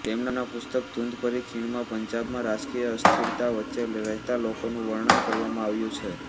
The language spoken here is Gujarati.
તેમના પુસ્તક ધુંધભરી ખીણમાં પંજાબમાં રાજકીય અસ્થિરતા વચ્ચે રહેતા લોકોનું વર્ણન કરવામાં આવ્યું છે